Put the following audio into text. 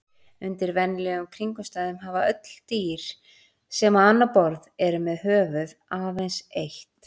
Undir venjulegum kringumstæðum hafa öll dýr sem á annað borð eru með höfuð aðeins eitt.